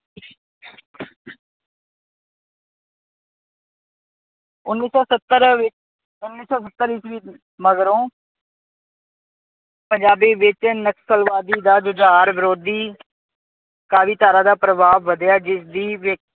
ਉਨੀ ਸੋ ਸੱਤਰ ਵਿੱਚ ਉਨੀ ਸੋ ਸੱਤਰ ਈਸਵੀ ਮਗਰੋਂ ਪੰਜਾਬੀ ਵਿੱਚ ਨਕਸਲਵਾਦੀ ਦਾ ਜੁਝਾਰ ਵਿਰੋਧੀ ਕਾਵਿਧਾਰਾ ਦਾ ਪ੍ਰਭਾਵ ਵਧਿਆ ਜਿਸਦੀ